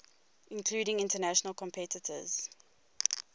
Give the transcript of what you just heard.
including international competitors